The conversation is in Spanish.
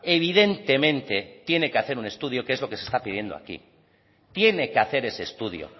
evidentemente tiene que hacer un estudio que es lo que se está pidiendo aquí tiene que hacer ese estudio